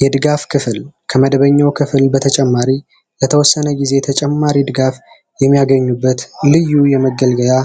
የድጋፍ ክፍል ከመደበኛው ክፍል በተጨማሪ የተወሰነ ጊዜ ተጨማሪም ድጋፍ የሚያገኙበት ልዩ የመገልገያ